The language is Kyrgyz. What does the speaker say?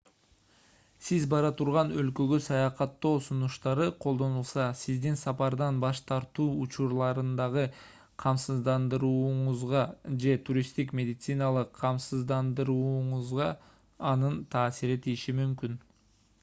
сиз бара турган өлкөгө саякаттоо сунуштары колдонулса сиздин сапардан баш тартуу учурларындагы камсыздандырууңузга же туристтик медициналык камсыздандырууңузга анын таасири тийиши мүмкүн